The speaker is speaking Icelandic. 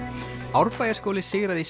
Árbæjarskóli sigraði í